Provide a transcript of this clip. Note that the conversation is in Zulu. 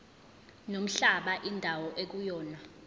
nomhlaba indawo ekuyona